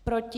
Proti?